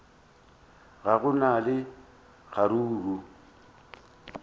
ga go na le kgaruru